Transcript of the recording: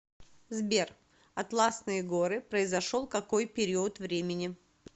сбер атласные горы произошел какой период времени